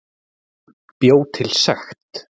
Bjó til sekt